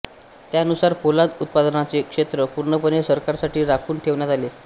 त्यानुसार पोलाद उत्पादनाचे क्षेत्र पूर्णपणे सरकारसाठी राखून ठेवण्यात आले